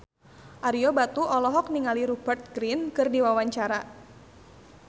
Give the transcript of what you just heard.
Ario Batu olohok ningali Rupert Grin keur diwawancara